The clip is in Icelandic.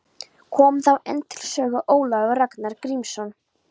Kom þá enn til sögu Ólafur Ragnar Grímsson.